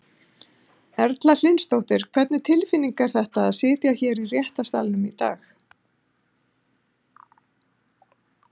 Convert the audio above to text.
Erla Hlynsdóttir: Hvernig tilfinning var þetta að sitja hérna í réttarsalnum í dag?